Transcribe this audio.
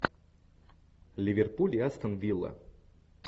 ливерпуль и астон вилла